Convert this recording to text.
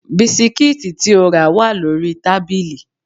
Bisikíìtì tí o rà wà lórí tábìlì